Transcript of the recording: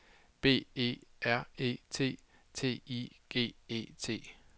B E R E T T I G E T